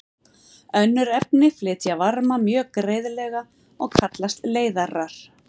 Önnur efni flytja varma mjög greiðlega og kallast leiðarar.